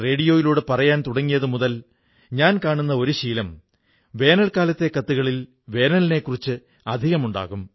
മെക്സിക്കോയിലെ ഒരു യുവാവ് മാർക് ബ്രൌൺ ഒരിക്കൽ മഹാത്മാഗാന്ധിയെക്കുറിച്ചുള്ള സിനിമ കണ്ടു